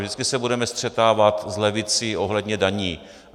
Vždycky se budeme střetávat s levicí ohledně daní.